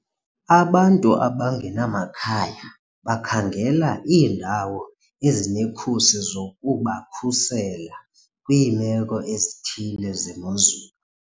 Abantu abangenamakhaya bakhangela iindawo ezinekhusi zokubakhusela kwiimeko ezithile zemozulu.